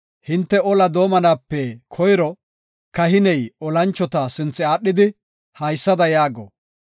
Hinte ola doomanaape koyro, kahiney olanchota sinthe aadhidi haysada yaago;